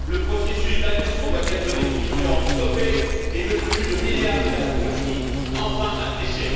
Le processus d'adhésion doit être définitivement stoppé et le flux de milliards vers la Turquie enfin asséché.